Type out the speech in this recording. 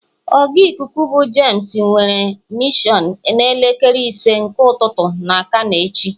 oga Ịkụku bu James nwere a missions n'elekere ise nke ụtụtụ na kano echi.